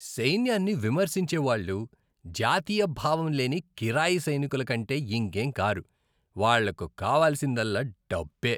సైన్యాన్ని విమర్శించే వాళ్ళు జాతీయ భావం లేని కిరాయి సైనికుల కంటే ఇంకేం కారు. వాళ్ళకు కావలసిందల్లా డబ్బే.